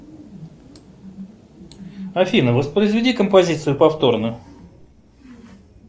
афина воспроизведи композицию повторно